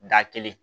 Da kelen